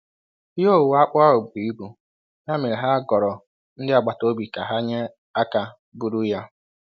Ihe owuwe akpụ ahụ buru ibu, ya mere ha goro ndị agbataobi ka ha nye aka buru ya.